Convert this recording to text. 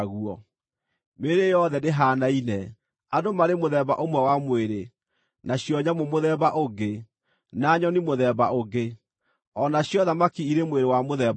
Mĩĩrĩ yothe ndĩhaanaine: Andũ marĩ mũthemba ũmwe wa mwĩrĩ, nacio nyamũ mũthemba ũngĩ, na nyoni mũthemba ũngĩ, o nacio thamaki irĩ mwĩrĩ wa mũthemba ũngĩ.